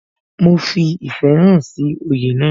Mo fi ìfẹ́ hàn sí oyè náà